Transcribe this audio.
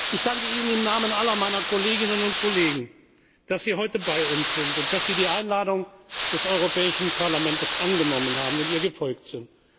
Ich danke Ihnen im Namen aller meiner Kolleginnen und Kollegen, dass Sie heute bei uns sind und dass Sie die Einladung des Europäischen Parlaments angenommen haben und ihr gefolgt